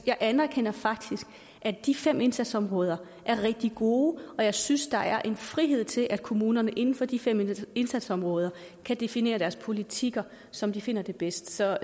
jeg anerkender faktisk at de fem indsatsområder er rigtig gode og jeg synes der er en frihed til at kommunerne inden for de fem indsatsområder kan definere deres politikker som de finder det bedst så